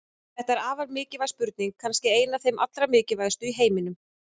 Þetta er afar mikilvæg spurning, kannski ein af þeim allra mikilvægustu í heiminum!